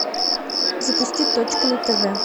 запусти точка на тв